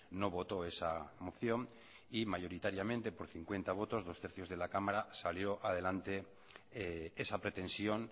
no votó esa moción y mayoritariamente por cincuenta votos dos tercios de la cámara salió adelante esa pretensión